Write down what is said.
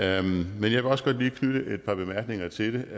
jeg vil også godt lige knytte et par bemærkninger til